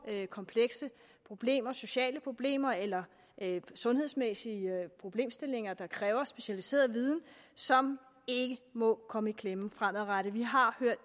komplekse problemer sociale problemer eller sundhedsmæssige problemstillinger der kræver specialiseret viden som ikke må komme i klemme fremadrettet vi har